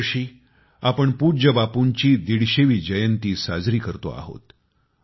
या वर्षी आपण पूज्य बापूंची 150 वी जयंती साजरी करतो आहोत